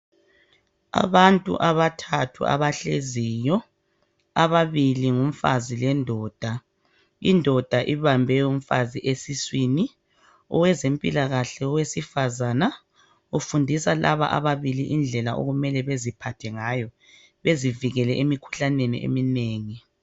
Abantu abathathu abahleziyo ababili ngumfazi lendoda, indoda ibambe umfazi esiswini owezempilakahke owesifazana ufundisa laba ababili indlela okumele beziphathe ngayo bezivikele emikhuhlaneni eminengi.